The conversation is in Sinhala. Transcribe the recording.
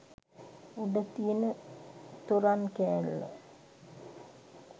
උඩ තියෙන තොරන් කෑල්ල